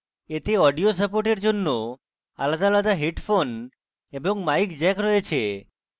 এতে audio support জন্য আলাদা আলাদা headphone এবং mic জ্যাক রয়েছে